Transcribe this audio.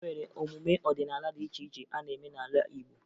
E nwere emume ọdịnaala dị iche iche a na-eme n'ala Igbo